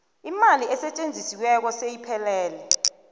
imali esetjenzisiweko seyiphelele